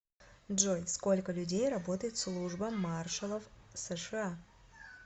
джой сколько людей работает в служба маршалов сша